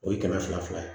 O ye kɛmɛ fila fila ye